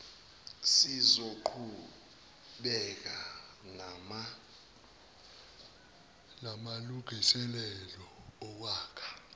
sizoqhubeka namalungiselelo okwakha